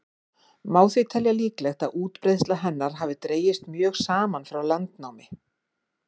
má því telja líklegt að útbreiðsla hennar hafi dregist mjög saman frá landnámi